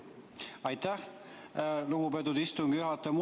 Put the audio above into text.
Aitäh, lugupeetud istungi juhataja!